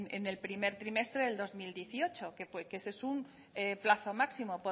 en el primer trimestre del dos mil dieciocho que ese es un plazo máximo